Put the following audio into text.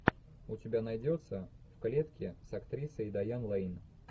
у тебя найдется в клетке с актрисой дайан лэйн